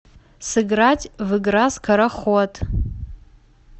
сыграть в игра скороход